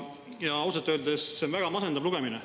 Ja ausalt öeldes see on väga masendav lugemine.